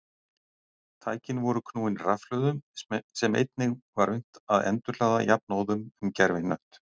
Tækin voru knúin rafhlöðum sem einnig var unnt að endurhlaða jafnóðum um gervihnött.